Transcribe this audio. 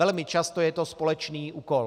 Velmi často je to společný úkol.